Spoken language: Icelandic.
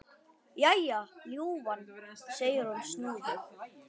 Jæja, ljúfan, segir hún snúðug.